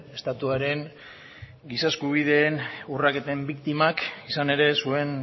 estatuaren giza eskubideen urraketen biktimak izan ere zuen